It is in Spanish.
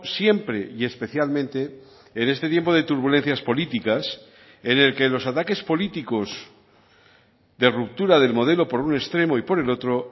siempre y especialmente en este tiempo de turbulencias políticas en el que los ataques políticos de ruptura del modelo por un extremo y por el otro